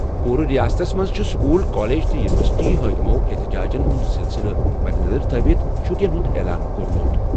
پوٗرٕ رِیاستَس منٛز چھِ سکوٗل، کالج تہٕ یوٗنیورسٹی حٲکمو احتِجاجَن ہُنٛد سلسلہٕ مدنظر تھٲوِتھ چھُٹیَن ہُنٛد اعلان کوٚرمُت۔